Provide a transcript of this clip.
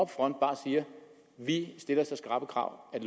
front bare siger vi stiller så skrappe krav at